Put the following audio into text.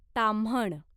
Tamhan